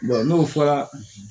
n'o fɔra